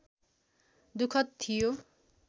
दुःखद थियो